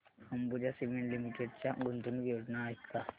Ambuja cement limited च्या गुंतवणूक योजना आहेत का